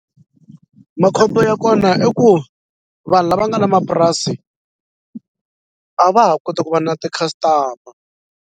Makhombo ya kona i ku vanhu lava nga na mapurasi a va ha koti ku va na ti-customer.